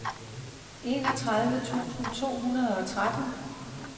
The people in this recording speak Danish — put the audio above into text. enogtredive tusind to hundrede og tretten